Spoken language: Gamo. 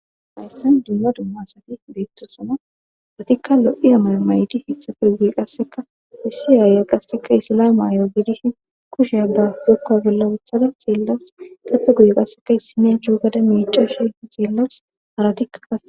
hayssan dumma dumma asati beettosona atikka lo7iya mayo mayidi etafe guye qasseka hissi aaya qasseka issilay maayo gidishin kushe abba zokkuwa bolla uthada siillawus sapfe guye qasseka issinen chuugada miicashi xillawus haratikka kae.